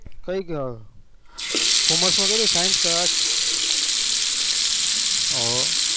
કઈ commerce કર્યું કે science કે હો